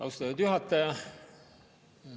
Austatud juhataja!